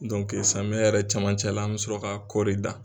samiyɛ yɛrɛ cɛmancɛ la an bɛ sɔrɔ ka kɔɔri dan